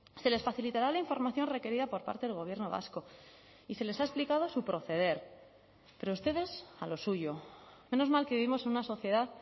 se les facilitará la información requerida por parte del gobierno vasco y se les ha explicado su proceder pero ustedes a lo suyo menos mal que vivimos en una sociedad